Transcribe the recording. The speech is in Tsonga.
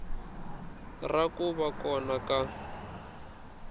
ra ku va kona ka